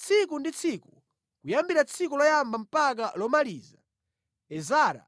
Tsiku ndi tsiku, kuyambira tsiku loyamba mpaka lomaliza, Ezara